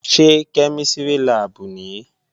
Ṣé kẹ́mísìrì láàbù nìí?